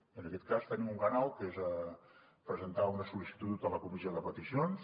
i en aquest cas tenim un canal que és presentar una sol·licitud a la comissió de peticions